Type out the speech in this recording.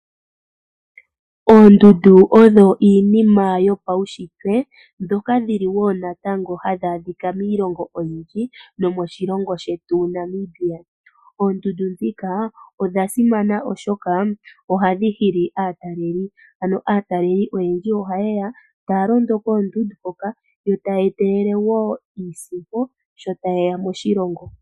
Oondundu odho dhimwe dhomiinshitwe ndhoka hadhi adhika miilongo oyindji moshilongo shetu Namibia. Oondundu odhasimana molwaashoka ohadhi hili aatalelipo . Aatalelipo ihayeya tayedhi londo nokudhitala. Ohaye etelele woo niisimpo.